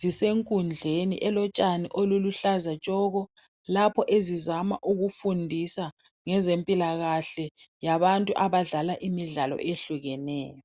zisenkundleni elotshani oluluhlaza tshoko lapho ezizama ukufundisa ngezempilakahle yabantu abadlala imidlala eyehlukeneyo.